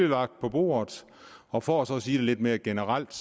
lagt på bordet og for så at sige det lidt mere generelt